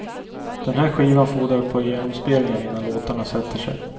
Den här skivan fordrar ett par genomspelningar innan låtarna sätter sig.